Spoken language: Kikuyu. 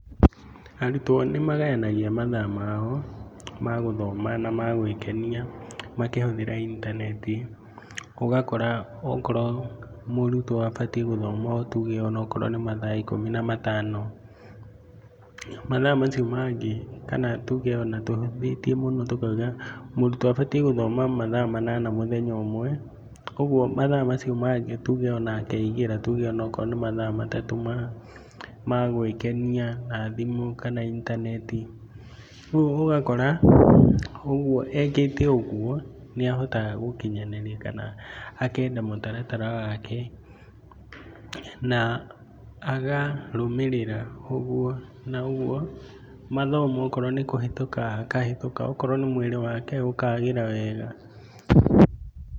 Arutwo nĩ magayanagia mathaa mao ma gũthoma na ma gwĩkenia makĩhũthĩra intaneti ũgakora okorwo mũrutwo abatiĩ gũthoma tuge onakorwo nĩ mathaa ikũmi na matano. Mathaa macio mangĩ kana on tuge ona tũhũthĩtie mũno tũkauga, mũrutwo abatiĩ gũthoma mathaa manana mũthenya ũmwe. Koguo mathaa macio mangĩ tuge ona akeigĩra tuge onakorwo nĩ mathaa matatũ ma gwĩkenia na thimu kana intaneti. Rĩu ũgakora ekĩte ũgo nĩ ahotaga gũkinyanĩria kana akenda mũtaratara wake na akarũmĩrĩra ũguo, mathomo okorwo nĩ kũhĩtũka akahĩtũka okorwo nĩ mwĩri wake ũkagĩra wega.